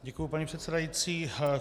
Děkuju, paní předsedající.